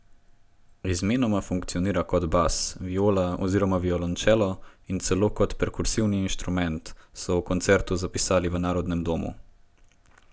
Izmenoma funkcionira kot bas, viola oziroma violončelo in celo kot perkusivni inštrument, so o koncertu zapisali v Narodnem domu.